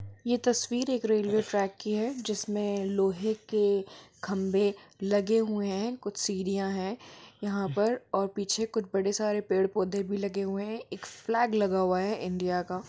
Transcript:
यह तस्वीर एक रेलवे ट्रैक की है जिसमें लोहे के खंभे लगे हुए हैं कुछ सीढ़ियां हैं यहां परऔर पीछे कुछ बड़े सारे पेड़ पौधे भी लगे हुए हैं एक फ्लैग लगा हुआ है इंडिया का।